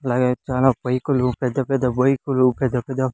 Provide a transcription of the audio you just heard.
అలాగే చానా బైకులు పెద్ద పెద్ద బైకులు పెద్ద పెద్ద--